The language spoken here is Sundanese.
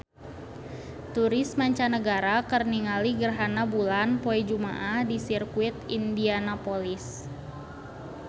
Turis mancanagara keur ningali gerhana bulan poe Jumaah di Sirkuit Indianapolis